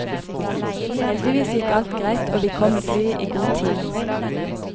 Heldigvis gikk alt greit og vi kom med flyet i god tid.